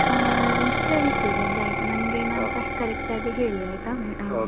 ಅಹ್ ಸರಿ ಸೂರಜ್ ಆಯ್ತು ನಂಗೇನಂತ correct ಆಗಿ ಹೇಳಿ ಆಯ್ತಾ?